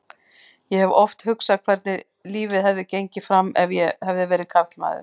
Ég hef oft hugsað hvernig lífið hefði gengið fram ef ég hefði verið karlmaður.